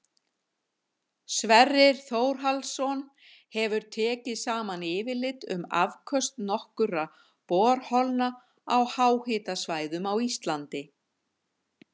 Sverrir Þórhallsson hefur tekið saman yfirlit um afköst nokkurra borholna á háhitasvæðum á Íslandi.